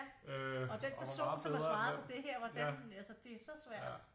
Ja og den person som har svaret på det her hvordan altså det er så svært